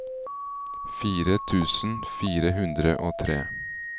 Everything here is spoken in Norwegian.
fire tusen fire hundre og tre